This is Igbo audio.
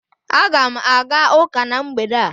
Aga m aga ụka na mgbede a